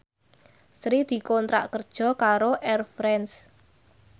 Sri dikontrak kerja karo Air France